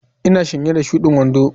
Ina sanye da shudin wando.